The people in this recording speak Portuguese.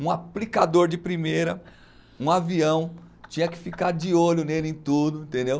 Um aplicador de primeira, um avião, tinha que ficar de olho nele em tudo, entendeu?